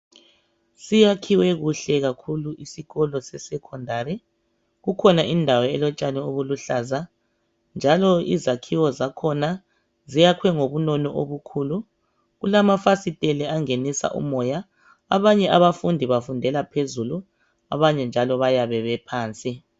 Siyakhiwe kuhle kakhulu isikolo sesekhondari kukhona indawo elotshani obuluhlaza. Njalo izakhiwo zakhona ziyakhiwe ngobunono obukhulu, kulamafasitela angenisa umoya. Abanye abafundi bafundela phezulu abanye njalo bayabe bephansi.